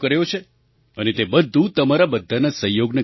અને તે બધું તમારા બધાના સહયોગના કારણે થયું છે